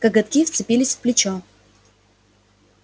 коготки вцепились в плечо